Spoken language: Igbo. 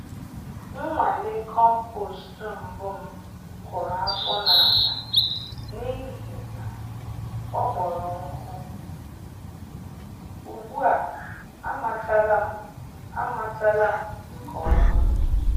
Nnwale compost mbụ m kụrụ afọ n'ala n'ihi na ọ kpọrọ nkụ - ugbu a amatala m a amatala m nke ọma.